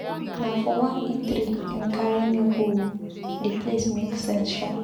Na for one eatery im carry me go o, di place make sense shaa.